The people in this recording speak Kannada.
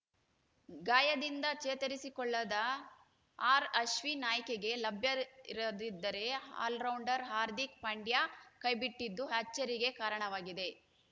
ಗಾಯದಿಂದ ಚೇತರಿಸಿಕೊಳ್ಳದ ಆರ್‌ಅಶ್ವಿನ್‌ ಆಯ್ಕೆಗೆ ಲಭ್ಯರಿರದಿದ್ದರೆ ಆಲ್ರೌಂಡರ್‌ ಹಾರ್ದಿಕ್‌ ಪಂಡ್ಯಾ ಕೈಬಿಟ್ಟಿದ್ದು ಅಚ್ಚರಿಗೆ ಕಾರಣವಾಗಿದೆ